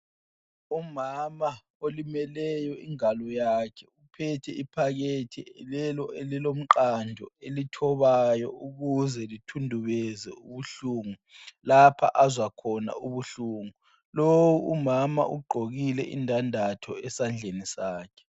Umama olimeleyo ingalo yakhe uphethe iphakethi lelo elilomqando elithobayo ukuze lithundubeze ubuhlungu lapha azwa khona ubuhlungu. Lowu umama ugqokile indandatho esandleni sakhe.